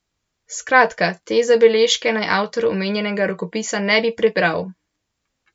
Skratka, te zabeležke naj avtor omenjenega rokopisa ne bi prebral.